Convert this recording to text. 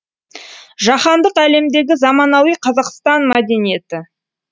жаһандық әлемдегі заманауи қазақстан мәдениеті